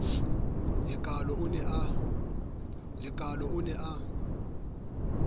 le kaalo o ne a